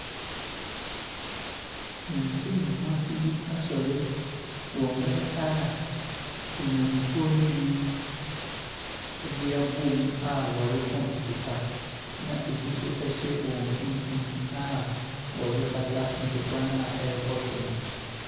Mente me ho ase bi asɔre wɔ mmrɛ a temanmufoɔ no mu bi ɛde abom a ɔreko ntɔkwa na ɛbi nso ɛhyɛ wɔn mfimfin a ɔrepata ntɔkwa na ɛɛkɔ so no.